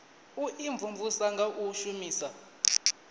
u imvumvusa nga u shumisa